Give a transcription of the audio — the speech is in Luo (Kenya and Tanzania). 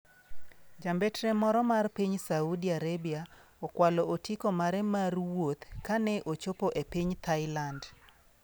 Jambetre moro ma piny Saudi Arabia okwalo otiko mare mar wuoth kane ochopo e piny Thailand.